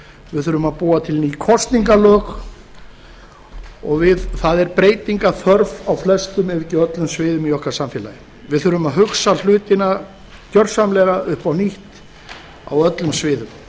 við þurfum að búa til ný kosningalög og það er breytinga þörf á flestum ef ekki öllum sviðum í okkar samfélagi við þurfum að hugsa hluti gjörsamlega upp á nýtt á öllum sviðum